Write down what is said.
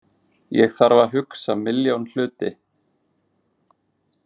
Ég þarf að hugsa milljón hluti.